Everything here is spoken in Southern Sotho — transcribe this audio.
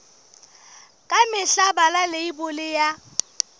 ka mehla bala leibole ya